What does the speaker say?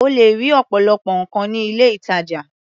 O lè rí ọ̀pọ̀lọpọ̀ nǹkan ní ilé-ìtajà.